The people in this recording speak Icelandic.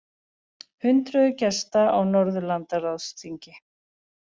Hundruðir gesta á Norðurlandaráðsþingi